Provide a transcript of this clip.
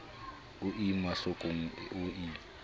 o ie mahlokong o ie